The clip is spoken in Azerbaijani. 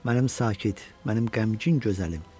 Mənim sakit, mənim qəmgin gözəlim.